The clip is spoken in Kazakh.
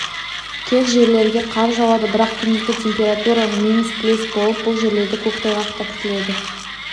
кей жерлерге қар жауады бірақ күндізгі температура минус плюс болып бұл жерлерде көктайғақ та күтіледі